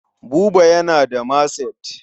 Buba yana da maset.